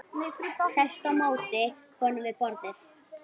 Sest á móti honum við borðið.